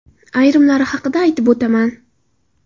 Ayrimlari haqida aytib o‘taman.